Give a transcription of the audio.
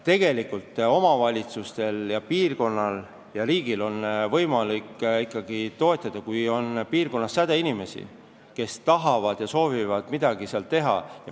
Tegelikult on omavalitsustel ja riigil võimalik arengut toetada, kui maal on sädeinimesi, kes tahavad midagi ära teha.